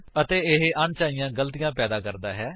ਅਤੇ ਇਹ ਅਣਚਾਹੀਆਂ ਗਲਤੀਆਂ ਪੈਦਾ ਕਰਦਾ ਹੈ